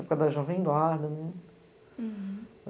Época da Jovem Eduardo.